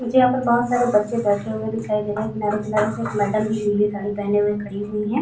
मुझे यहाँ पर बहुत सारे बच्चे बैठे हुए दिखाई दे रहे हैं किनारे किनारे से मैंडम भी नीली साड़ी पहने हुई खड़ी हुई हैं।